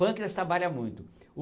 Pâncreas trabalha muito.